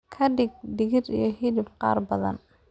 ka dhig digir iyo hilib qaar badan